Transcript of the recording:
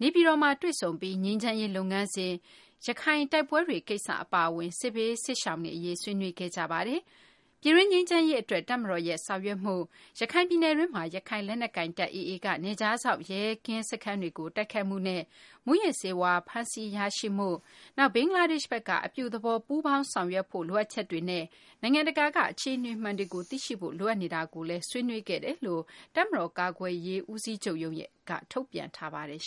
နေပြည်တော်မှာ တွေ့ဆုံပြီး ငြိမ်းချမ်းရေး လုပ်ငန်းစဉ်၊ ရခိုင်တိုက်ပွဲတွေ ကိစ္စ အပါအဝင် စစ်ဘေးစစ်ရှောင်တွေ အရေး ဆွေးနွေးခဲ့ကြပါတယ်။ ပြည်တွင်း ငြိမ်းချမ်းရေး အတွက် တပ်မတော်ဘက်က ဆောင်ရွက်မှု၊ ရခိုင်ပြည်နယ်တွင်းမှာ ရခိုင်လက်နက်ကိုင်တပ် AA က နယ်ခြားစောင့် ရဲကင်းစခန်းတွေကို တိုက်ခိုက်မှုနဲ့ မူးယစ်ဆေးဝါး ဖမ်းဆီးရရှိမှု၊ ဘင်္ဂလားဒေရှ့်ဘက်က အပြုသဘောဆောင် ပူးပေါင်းဆောင်ရွက်ဖို့ လိုအပ်ချက်တွေနဲ့ နိုင်ငံတကာက အခြေအနေမှန်တွေကို သိရှိဖို့ လိုအပ်နေတာ တွေကိုလည်း ဆွေးနွေးခဲ့ကြောင်း တပ်မတော် ကာကွယ်ရေး ဦးစီးချုပ်ရုံးက ထုတ်ပြန်ထားပါတယ်